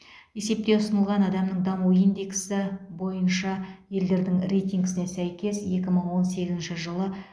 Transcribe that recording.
есепте ұсынылған адамның даму индексі бойынша елдердің рейтингісіне сәйкес екі мың он сегізінші жылы